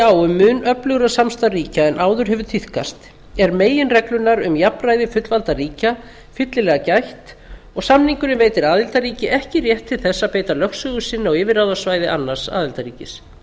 á um mun öflugra samstarf ríkja en áður hefur tíðkast er meginreglunnar um jafnræði fullvalda ríkja fyllilega gætt og samningurinn veitir aðildarríki ekki rétt til þess að beita lögsögu sinni á yfirráðasvæði annars aðildarríkis